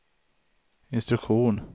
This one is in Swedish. instruktion